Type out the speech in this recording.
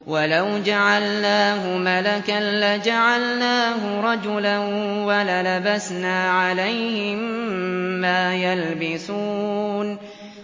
وَلَوْ جَعَلْنَاهُ مَلَكًا لَّجَعَلْنَاهُ رَجُلًا وَلَلَبَسْنَا عَلَيْهِم مَّا يَلْبِسُونَ